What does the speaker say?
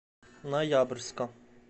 ноябрьска